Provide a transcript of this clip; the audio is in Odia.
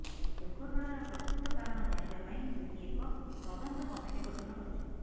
ଦୁର୍ଘଟଣାର ପ୍ରକୃତ କାରଣ ଜାଣିବାପାଇଁ ଯୋଗୀ ଏକ ତଦନ୍ତ କମିଟି ଗଠନ କରିଛନ୍ତି